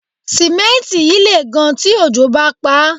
Símẹ́ǹtì yìí lè gan tí òjò bá paá